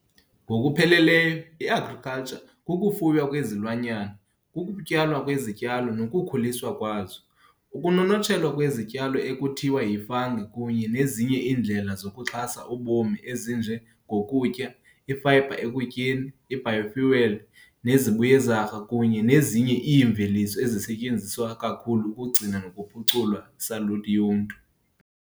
Ngokupheleleyo i-"Agriculture" kukufuywa kwezilwanyana, kukutyalwa kwezityalo nokukhuliswa kwazo, ukunonotshelwa kwesityalo ekuthiwa yi-fungi, kunye nezinye iindlela zokuxhasa ubomi ezinje ngokutya, I-fiber ekutyeni, i-biofuel, nezibuyezarha kunye nezinye iimveliso ezisetyenziswa kakhulu ukugcina nokuphucula saluti yomntu.